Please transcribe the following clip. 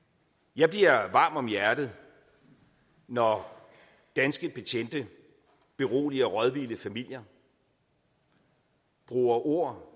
jeg bliver varm om hjertet når danske betjente beroliger rådvilde familier bruger ord